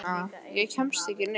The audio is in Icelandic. Ég hérna. ég kemst ekki neitt.